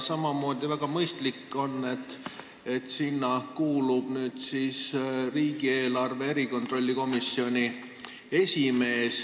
Samamoodi on väga mõistlik, et sinna kuulub nüüd riigieelarve kontrolli erikomisjoni esimees.